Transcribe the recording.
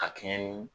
A kɛɲɛ ni